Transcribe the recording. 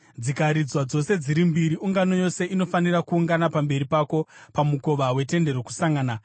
Dzikaridzwa dzose dziri mbiri, ungano yose inofanira kuungana pamberi pako pamukova weTende Rokusangana.